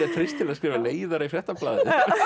skrifa leiðara í Fréttablaðið það